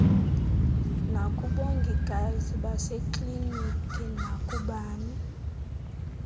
nakubongikazi basekliniki nakubani